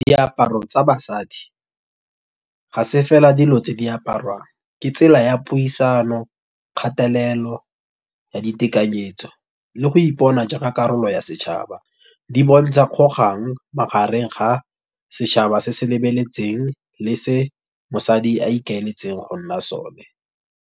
Diaparo tsa basadi, ga se fela dilo tse di aparwang, ke tsela ya puisano, kgatelelo ya ditekanyetso, le go ipona jaaka karolo ya setšhaba. Di bontsha kgogang magareng ga setšhaba se se lebeletseng, le se mosadi a ikaeletseng gonna sone.